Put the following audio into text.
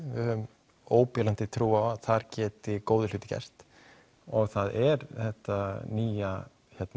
höfum óbilandi trú á að þar geti góðir hlutir gerst það er þetta nýja